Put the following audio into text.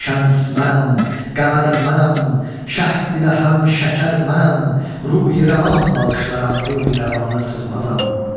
Şəms mənəm, qəmər mənəm, şəhd ilə həm şəkər mənəm, ruhi rəvan bağışlaram, ruhi rəvanə sığmazam.